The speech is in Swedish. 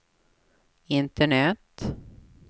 internet